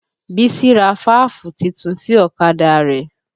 Bísí ra fáàfù titun sí ọ̀kadà rẹ̀